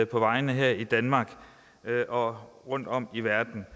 på vejene her i danmark og rundtom i verden